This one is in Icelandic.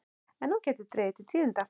En nú gæti dregið til tíðinda.